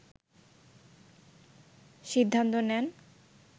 সিদ্ধান্ত নেন